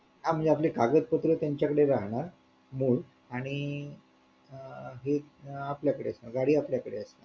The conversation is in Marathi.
हा म्हणजे आपले कागद पत्रे त्यांच्या कडे राहणार आणि ही आपल्या कडे गाडी आपल्या कडे